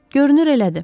Görünür elədir.